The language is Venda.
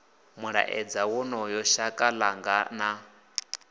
mulaedza wonoyo shaka ḽanga na